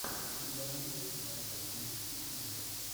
у тебя найдется кинолента в стилистике ужасов